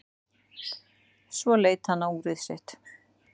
Svo leit hann á úrið sitt.